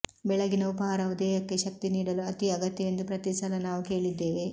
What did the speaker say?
ಬೆಳಗ್ಗಿನ ಉಪಹಾರವು ದೇಹಕ್ಕೆ ಶಕ್ತಿ ನೀಡಲು ಅತೀ ಅಗತ್ಯವೆಂದು ಪ್ರತೀ ಸಲ ನಾವು ಕೇಳಿದ್ದೇವೆ